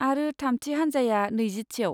आरो थामथि हानजाया नैजिथियाव।